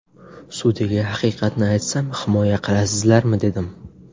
Sudyaga haqiqatni aytsam himoya qilasizlarmi dedim.